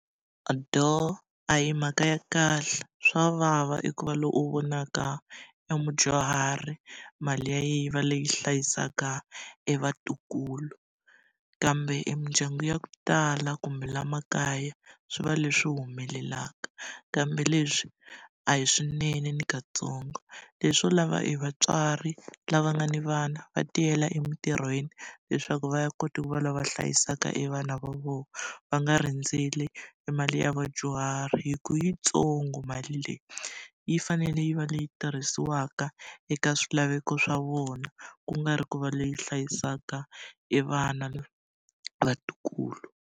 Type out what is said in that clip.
a hi mhaka ya kahle. Swa vava eku va loyi u vonaka emudyuhari mali ya yena yi va leyi hlayisaka evatukulu, kambe emindyangu ya ku tala kumbe laha makaya swi va leswi humelelaka. Kambe leswi a hi swinene ni katsongo. Leswi swo lava e vatswari lava nga ni vana va tiyela emitirhweni, leswaku va ya kota ku va lava va hlayisaka evana va vona. Va nga rindzeli e mali ya vadyuhari hikuva yitsongo mali leyi. Yi fanele yi va leyi tirhisiwaka eka swilaveko swa vona, ku nga ri ku va leyi hlayisaka evana vatukulu.